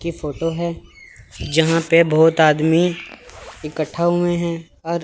की फोटो है जहां पे बहोत आदमी इकट्ठा हुए हैं अर--